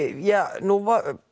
nú